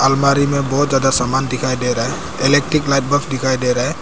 अलमारी में बहुत ज्यादा सामान दिखाई दे रहा है इलेक्ट्रिक लाइट बफ दिखाई दे रहा है।